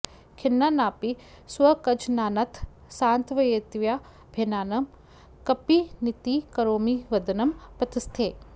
खिन्नानापि स्वकजनानथ सान्त्वयित्वा भिन्नान् कपीनिति करोमि वदन् प्रतस्थे